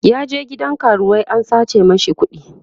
ya je gidan karuwai an sace mashi kuɗi